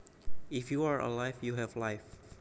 If you are alive you have life